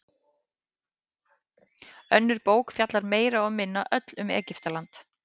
Önnur bók fjallar meira og minna öll um Egyptaland.